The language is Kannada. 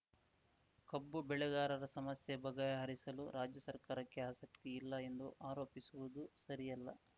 ಕಬ್ಬು ಬೆಳೆಗಾರರ ಸಮಸ್ಯೆ ಬಗೆಹರಿಸಲು ರಾಜ್ಯ ಸರ್ಕಾರಕ್ಕೆ ಆಸಕ್ತಿ ಇಲ್ಲ ಎಂದು ಆರೋಪಿಸುವುದು ಸರಿಯಲ್ಲ